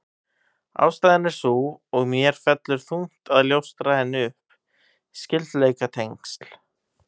Ástæðan er sú, og mér fellur þungt að ljóstra henni upp: Skyldleikatengsl